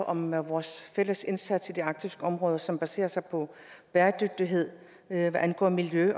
om vores fælles indsats i det arktiske område som baserer sig på bæredygtighed hvad angår miljø